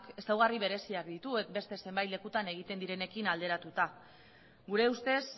ezaugarri bereziak ditu beste zenbait lekutan egiten direnekin alderatuta gure ustez